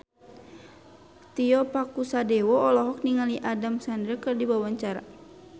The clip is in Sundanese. Tio Pakusadewo olohok ningali Adam Sandler keur diwawancara